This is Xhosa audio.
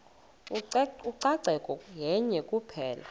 ucoceko yenye kuphela